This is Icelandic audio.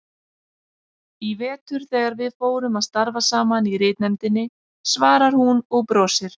Í vetur þegar við fórum að starfa saman í ritnefndinni, svarar hún og brosir.